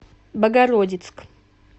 богородицк